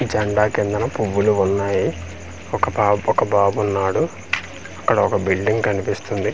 జండా కిందన పువ్వులు వున్నాయి ఒక పాప్ ఒక బాబున్నాడు అక్కడ ఒక బిల్డింగ్ కనిపిస్తుంది ఆ బిల్.